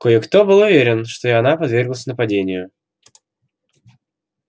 кое-кто был уверен что и она подверглась нападению